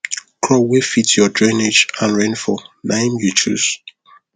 crop wey fit your drainage and rainfall naim you chose